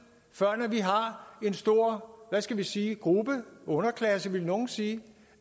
før vi har en stor hvad skal vi sige gruppe underklasse vil nogle sige